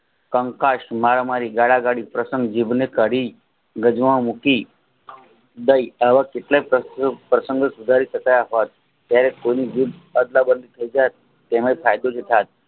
કંકાશ મારામારી ગાળાગાળી પ્રશંગ વિઘ્ન કરી ગજવામાં મૂકી ડે આવા કેટલાય પ્રસંગો સુધારી શકતા નથી ત્યારે કોઈનું તેનો ફાયદો ઉઠાવે